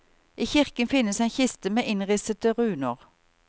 I kirken finnes en kiste med innrissete runer.